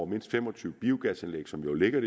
mindst fem og tyve biogasanlæg som jo ligger